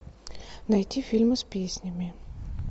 найти фильмы с песнями